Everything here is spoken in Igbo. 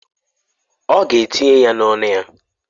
Ọ ga-etinye ya n'ọnụ ya?